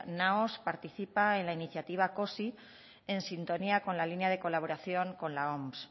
naos participa en la iniciativa cosi en sintonía con la línea de colaboración con la oms